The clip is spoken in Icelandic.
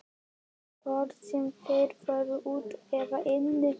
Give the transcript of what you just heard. Hvort sem þeir voru úti eða inni.